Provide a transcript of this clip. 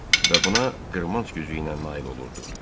Və buna qırmanc gücü ilə nail olurdu.